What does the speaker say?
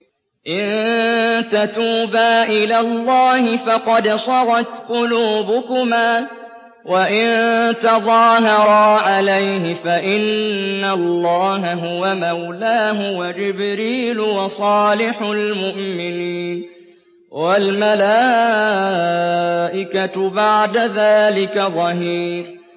إِن تَتُوبَا إِلَى اللَّهِ فَقَدْ صَغَتْ قُلُوبُكُمَا ۖ وَإِن تَظَاهَرَا عَلَيْهِ فَإِنَّ اللَّهَ هُوَ مَوْلَاهُ وَجِبْرِيلُ وَصَالِحُ الْمُؤْمِنِينَ ۖ وَالْمَلَائِكَةُ بَعْدَ ذَٰلِكَ ظَهِيرٌ